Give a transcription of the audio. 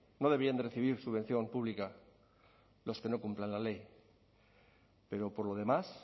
no deberían de recibir subvención pública los que no cumplan la ley pero por lo demás